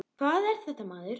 Hvað er þetta maður?